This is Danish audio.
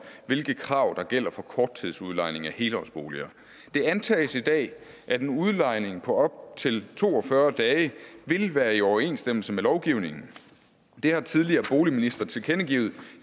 hvilke krav der gælder for korttidsudlejning af helårsboliger det antages i dag at en udlejning på op til to og fyrre dage vil være i overensstemmelse med lovgivningen det har tidligere boligministre tilkendegivet